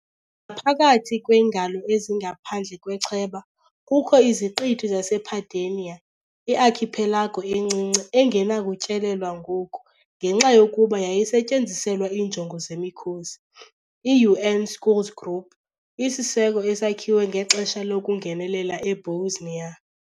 Ngaphakathi kweengalo ezingaphandle kwechweba kukho iziqithi zasePedagne, i-archipelago encinci engenakutyelelwa ngoku ngenxa yokuba yayisetyenziselwa iinjongo zemikhosi i-UN Schools Group, isiseko esakhiwe ngexesha lokungenelela eBosnia.